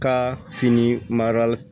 Ka fini madamu